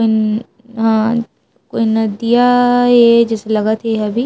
हा कोई नदिया ये जइसे लगत हे अभी --